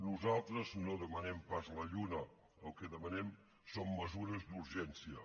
nosaltres no demanem pas la lluna el que demanem són mesures d’urgència